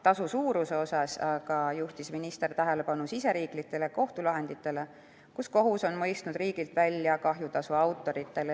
Tasu suuruse koha pealt juhtis minister aga tähelepanu riigisisestele kohtulahenditele, kus kohus on mõistnud riigilt välja kahjutasu autoritele.